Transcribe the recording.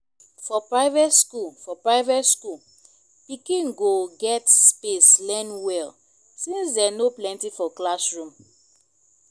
for private skool for private skool pikin go get space learn well since dem no plenty for classroom